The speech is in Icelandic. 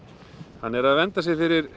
hann er vernda sig